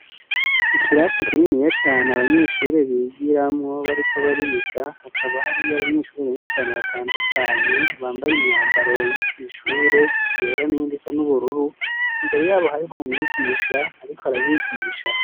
Ikirase kininiya cane abanyeshure bigiramwo bariko bariga hakaba hariy'abanyeshure benshi cane batandukanye bambay'imyambaro yo kwishure yera n'iyind'isa n'ubururu, imbere yabo harih'umwigisha arik'arabigisha